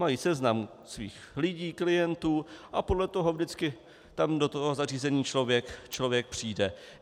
Mají seznam svých lidí, klientů a podle toho vždycky tam do toho zařízení člověk přijde.